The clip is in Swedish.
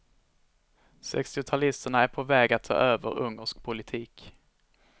Sextiotalisterna är på väg att ta över ungersk politik.